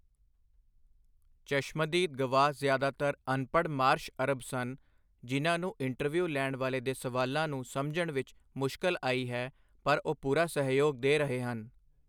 ਚਸ਼ਮਦੀਦ ਗਵਾਹ ਜ਼ਿਆਦਾਤਰ ਅਨਪੜ੍ਹ ਮਾਰਸ਼ ਅਰਬ ਸਨ ਜਿਨ੍ਹਾਂ ਨੂੰ ਇੰਟਰਵਿਊ ਲੈਣ ਵਾਲੇ ਦੇ ਸਵਾਲਾਂ ਨੂੰ ਸਮਝਣ ਵਿੱਚ ਮੁਸ਼ਕਲ ਆਈ ਹੈ ਪਰ ਉਹ ਪੂਰਾ ਸਹਿਯੋਗ ਦੇ ਰਹੇ ਹਨ।